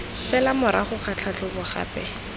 fela morago ga tlhatlhobo gape